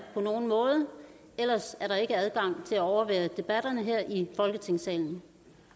på nogen måde ellers er der ikke adgang til at overvære debatterne her i folketingssalen